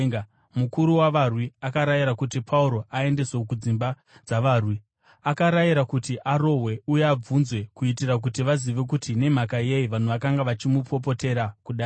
mukuru wavarwi akarayira kuti Pauro aendeswe kudzimba dzavarwi. Akarayira kuti arohwe uye abvunzwe kuitira kuti vazive kuti nemhaka yei vanhu vakanga vachimupopotera kudai.